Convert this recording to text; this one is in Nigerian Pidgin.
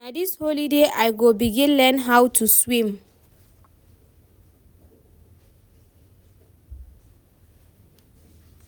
Na dis holiday I go begin learn how to swim.